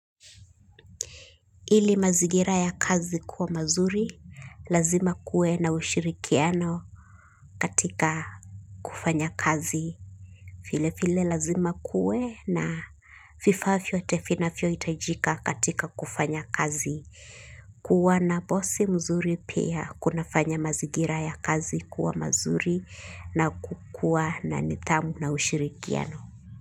Ili mazingira ya kazi kuwa mazuri, lazima kuwe na ushirikiano katika kufanya kazi. Vile vile lazima kuwe na vifaa vyote vinavyo hitajika katika kufanya kazi. Kuwa na bosi mzuri pia kunafanya mazingira ya kazi kuwa mazuri na kukua na nidhamu na ushirikiano.